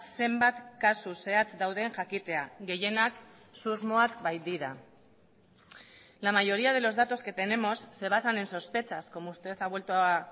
zenbat kasu zehatz dauden jakitea gehienak susmoak baitira la mayoría de los datos que tenemos se basan en sospechas como usted ha vuelto a